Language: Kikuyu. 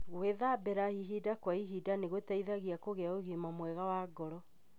Gwithambira ihinda kwa ihinda nĩgũteithagia kũgĩa ũgima mwega wa ngoro.